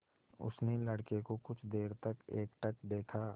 उसने लड़के को कुछ देर तक एकटक देखा